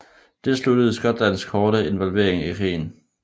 Det sluttede Skotlands korte involvering i krigen